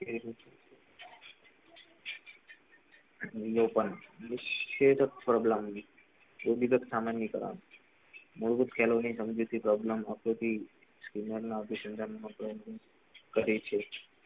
share a problem કોઈ બી સામાન નહિ કરવાનું મોઓઓહ પેલો બી સમજૂતી કહે છે.